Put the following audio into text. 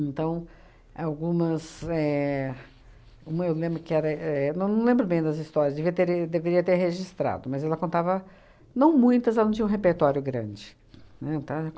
algumas éh uma eu lembro que era, éh eu não não lembro bem das histórias, deveria tere deveria ter registrado, mas ela contava não muitas, ela não tinha um repertório grande, né, ta